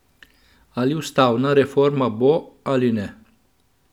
Ali ustavna reforma bo, ali ne?